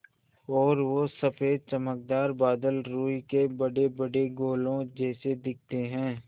और वो सफ़ेद चमकदार बादल रूई के बड़ेबड़े गोलों जैसे दिखते हैं